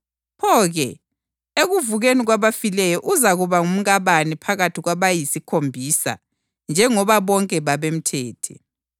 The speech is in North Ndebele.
Pho-ke, ekuvukeni kwabafileyo uzakuba ngumkabani phakathi kwabayisikhombisa njengoba bonke babemthethe?”